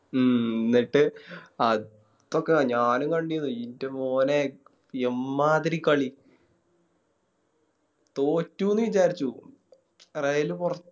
ഉം ന്നിട്ട് അപ്പൊക്കെ ഞാനും കണ്ടിരുന്നു ഇൻറെ മോനെ എമ്മാതിരി കളി തോറ്റുന്ന് വിചാരിച്ചു Trail പോറ